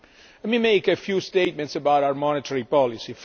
Let me make a few statements about our monetary policy.